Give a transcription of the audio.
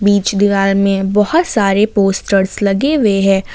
बीच दीवार में बहुत सारे पोस्टर्स लगे हुए है।